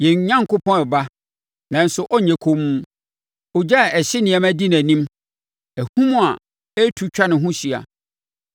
Yɛn Onyankopɔn reba nanso ɔrenyɛ komm; ogya a ɛhye nneɛma di nʼanim, ahum a ɛretu atwa ne ho ahyia.